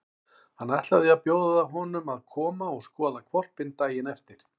Hann ætlaði að bjóða honum að koma og skoða hvolpinn daginn eftir.